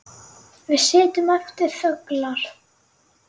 Við sitjum eftir þöglar.